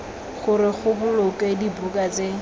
gore go bolokwe dibuka tse